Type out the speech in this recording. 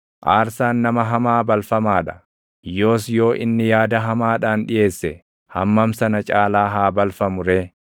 Aarsaan nama hamaa balfamaa dha; yoos yoo inni yaada hamaadhaan dhiʼeesse // hammam sana caalaa haa balfamu ree!